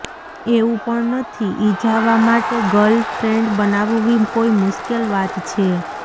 એવું પણ નથી ઈજાવા માટે ગર્લ ફ્રેન્ડ બનાવવી કોઈ મુશ્કેલ વાત છે